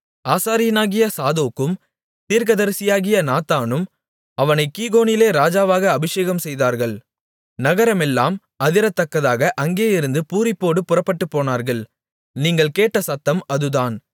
ஆசாரியனாகிய சாதோக்கும் தீர்க்கதரிசியாகிய நாத்தானும் அவனைக் கீகோனிலே ராஜாவாக அபிஷேகம்செய்தார்கள் நகரமெல்லாம் அதிரத்தக்கதாக அங்கேயிருந்து பூரிப்போடு புறப்பட்டுப்போனார்கள் நீங்கள் கேட்ட சத்தம் அதுதான்